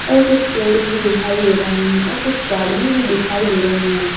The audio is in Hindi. और कुछ पेड़ भी दिखाई दे रहे हैं और कुछ गाड़िये भी दिखाई दे रही हैं।